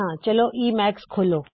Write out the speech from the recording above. ਚਲੋ ਈਮੈਕਸ ਖੋਲੋ